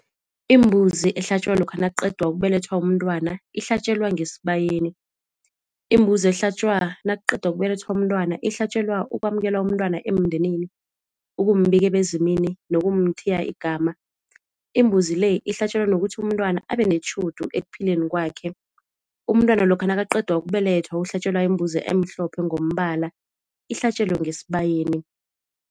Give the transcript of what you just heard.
Imbuzi ehlatjwa lokha nakuqedwa ukubelethwa umntwana ihlatjelwa ngesibayeni. Imbuzi ehlatjwa nakuqedwa ukubelethwa umntwana ihlatjelwa ukwamukelwa umntwana emndenini, ukumbika ebezimini nokumthiya igama. Imbuzi le ihlatjelwa nokuthi umntwana abenetjhudu ekuphileni kwakhe, umntwana lokha nakaqedwa ukubelethwa uhlatjelwa imbuzi emhlophe ngombala ihlatjelwe ngesibayeni.